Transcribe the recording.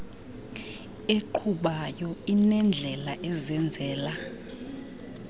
eqhubayo inendlela ezenzela